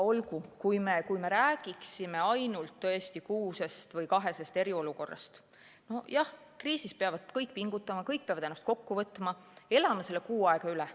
Olgu, kui me räägiksime tõesti ainult ühe- või kahekuulisest eriolukorrast, siis jah – kriisis peavad kõik pingutama, kõik peavad ennast kokku võtma, elame selle kuu aega üle.